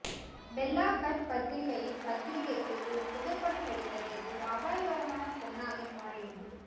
Bella Hadid பத்திரிகையின் பத்திரிகைக்கு ஒரு புகைப்படம் எடுத்ததில் ஒரு அபாயகரமான பொன்னாக மாறியது